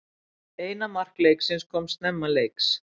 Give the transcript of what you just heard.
Eina mark leiksins koma snemma leiks